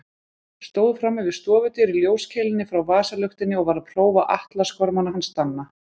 Stóð frammi við stofudyr í ljóskeilunni frá vasaluktinni og var að prófa atlasgormana hans Danna.